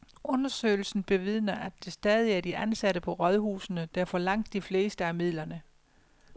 Undersøgelsen bevidner, at det stadig er de ansatte på rådhusene, der får langt de fleste af midlerne.